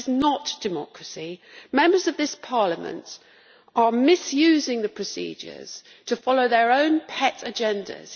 That is not democracy. Members of this Parliament are misusing the procedures to follow their own pet agendas.